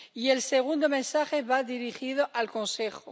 Y el segundo mensaje va dirigido al Consejo.